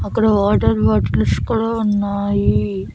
అక్కడ water bottles కూడా ఉన్నాయి.